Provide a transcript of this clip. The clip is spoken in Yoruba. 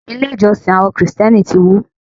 Ilé ìjọsìn àwọn Kristẹni ti wó.